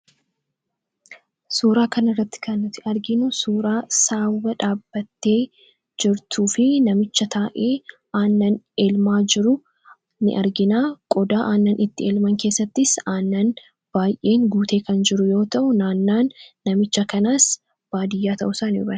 Suuraa kan irratti kannati arginu suuraa saawwa dhaabbattee jirtuu fi namicha taa'e aannan elmaa jiru ni argina. Qodaa aannan itti elman keessattis aannan baay'een guutee kan jiru yoo ta'u naannaan namicha kanaas baadiyyaa ta'u saa ifa.